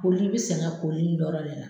Koli i bɛ sɛgɛ koli in dɔrɔn ne la